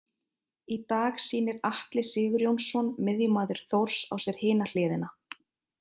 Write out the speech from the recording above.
Í dag sýnir Atli Sigurjónsson miðjumaður Þórs á sér hina hliðina.